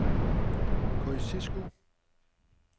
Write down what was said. Kosciusko